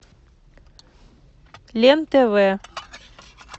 лен тв